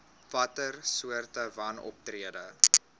watter soorte wanoptrede